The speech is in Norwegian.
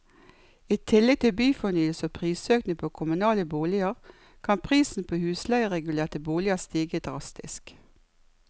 I tillegg til byfornyelse og prisøkning på kommunale boliger, kan prisen på husleieregulerte boliger stige drastisk.